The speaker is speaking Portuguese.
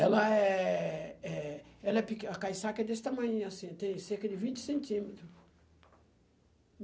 Ela é é ela é peque, a caiçaca é desse tamanhinho assim, tem cerca de vinte centímetro.